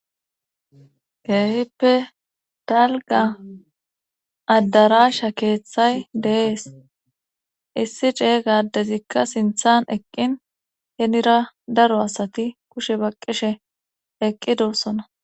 Keehippe dalga addarasha keeththay dee'es issi ce gaaddezikka sinthan eqqin henira daro asati kushe baqqishe eqqidossona